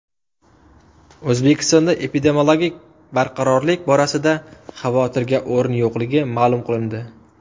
O‘zbekistonda epidemiologik barqarorlik borasida xavotirga o‘rin yo‘qligi ma’lum qilindi .